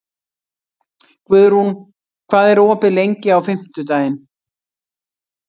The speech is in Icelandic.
Guðrún, hvað er opið lengi á fimmtudaginn?